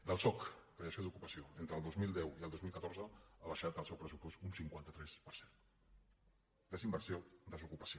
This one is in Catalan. del soc creació d’ocupació entre el dos mil deu i el dos mil catorze ha baixat el seu pressupost un cinquanta tres per cent desinversió desocupació